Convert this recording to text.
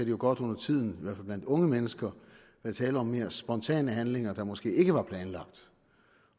jo godt undertiden fald blandt unge mennesker være tale om mere spontane handlinger der måske ikke var planlagt